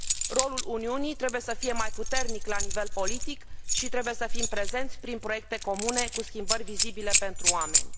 Rolul Uniunii trebuie să fie mai puternic la nivel politic și trebuie să fim prezenți prin proiecte comune cu schimbări vizibile pentru oameni.